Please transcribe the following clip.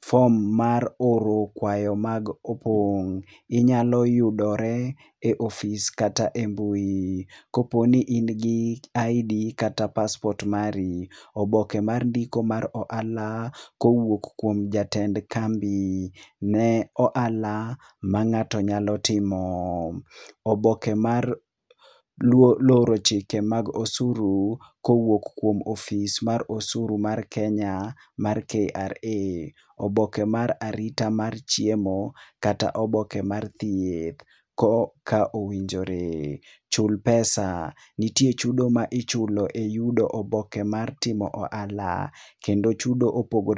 form mar oro kwayo mag opong. Inyalo yudore ofis kata e mbui. Koponi in gi ID kata passport mari, oboke mar ndiko mar ohala kowuok kuom jatend kambi ne ohala ma ngato nyalo timo . Oboke mar loro chike mag osuru kowuok kuom ofis mar osuru mar Kenya mar KRA.Oboke mar arita mar chiemo kata oboke mar thieth ka owinjore. Chul pesa, nitie chudo ma ichulo e yudo oboke mar ohala kendo chudo opogore